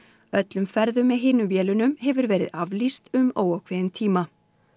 öllum ferðum með hinum vélunum hefur verið aflýst um óákveðinn tíma